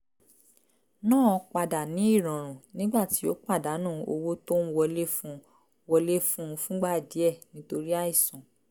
náà padà ní ìrọ̀rùn nígbà tí ó pàdánù owó tó ń wọlé fún un wọlé fún un fúngbà díẹ̀ nítorí àìsàn